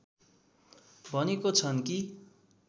भनेको छन् कि